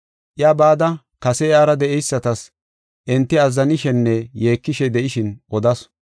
Iya bada kase iyara de7eysatas, enti azzanishenne yeekishe de7ishin odasu.